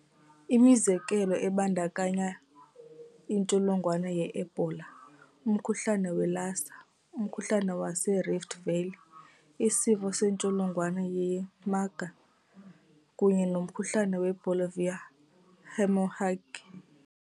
Imizekelo ibandakanya intsholongwane yeEbola, umkhuhlane weLassa, umkhuhlane waseRift Valley, isifo sentsholongwane yeMarburg kunye nomkhuhlane weBolivian hemorrhagic.